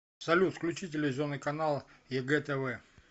салют включи телевизионный канал егэ тв